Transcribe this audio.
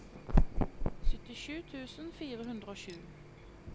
syttisju tusen fire hundre og sju